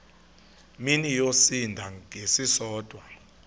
mini yosinda ngesisodwa